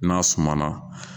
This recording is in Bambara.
N'a sumana